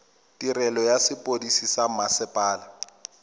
tirelo ya sepodisi sa mmasepala